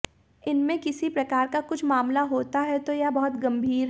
इसमें किसी प्रकार का कुछ मामला होता है तो यह बहुत गंभीर है